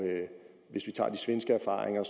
hvis vi tager de svenske erfaringer